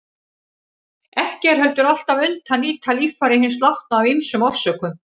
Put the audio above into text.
Ekki er heldur alltaf unnt að nýta líffæri hins látna af ýmsum orsökum.